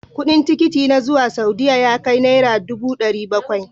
Kudin tikiti na zuwa Saudiya ya kai Naira dubu dari Bakwai.